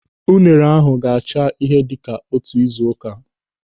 Unere ahụ ga-acha ihe dịka otu ị́zù ụ́ká.